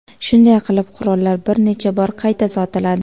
Shunday qilib qurollar bir necha bor qayta sotiladi.